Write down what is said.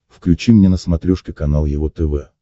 включи мне на смотрешке канал его тв